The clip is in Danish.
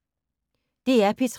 DR P3